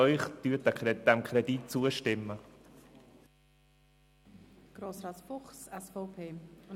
Ich bitte Sie: Stimmen Sie diesem Kredit zu!